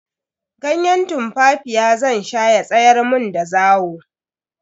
Ganye tumfafiya zan sha ya tsayar mun da zawo.